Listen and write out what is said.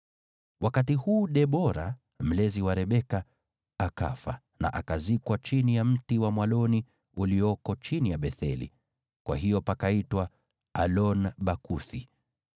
Wakati huu Debora, mlezi wa Rebeka, akafa na akazikwa chini ya mti wa mwaloni ulioko chini ya Betheli. Kwa hiyo pakaitwa Alon-Bakuthi.